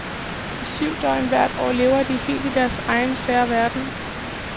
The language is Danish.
I syv døgn hvert år lever de helt i deres egen, sære verden.